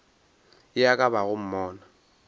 ye e ka bago monna